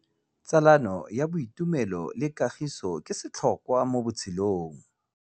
Tsalano ya boitumelo le kagiso ke setlhôkwa mo botshelong.